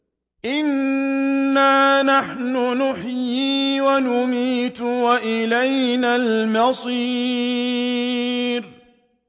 إِنَّا نَحْنُ نُحْيِي وَنُمِيتُ وَإِلَيْنَا الْمَصِيرُ